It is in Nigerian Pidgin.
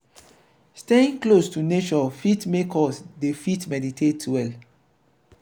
staying close to nature fit make us dey fit meditate well